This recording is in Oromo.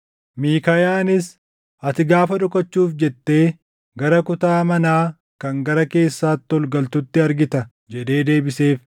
Miikaayaanis, “Ati gaafa dhokachuuf jettee gara kutaa manaa kan gara keessaatti ol galtutti argita” jedhee deebiseef.